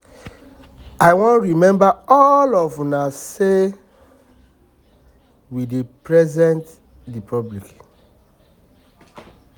i wan remind all of una say we dey represent the public